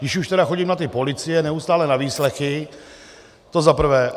Když už tedy chodím na tu policii neustále na výslechy, to za prvé.